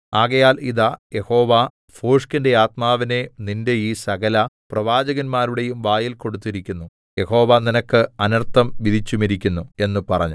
ആകയാൽ ഇതാ യഹോവ ഭോഷ്കിന്റെ ആത്മാവിനെ നിന്റെ ഈ സകലപ്രവാചകന്മാരുടെയും വായിൽ കൊടുത്തിരിക്കുന്നു യഹോവ നിനക്ക് അനർത്ഥം വിധിച്ചുമിരിക്കുന്നു എന്ന് പറഞ്ഞു